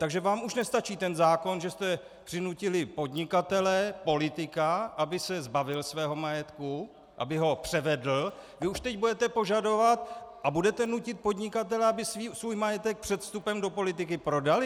Takže vám už nestačí ten zákon, že jste přinutili podnikatele, politika, aby se zbavil svého majetku, aby ho převedl, vy už teď budete požadovat a budete nutit podnikatele, aby svůj majetek před vstupem do politiky prodali?